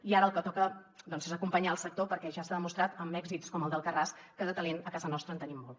i ara el que toca doncs és acompanyar el sector perquè ja s’ha demostrat amb èxits com el d’talent a casa nostra en tenim molt